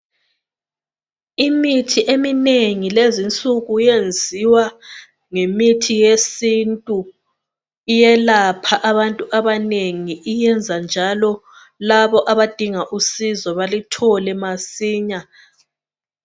Imithi eminengi lezinsuku yenziwa ngemithi yesintu iyelapha abantu abanengi iyenza njalo labo abadinga usizo baluthole masinya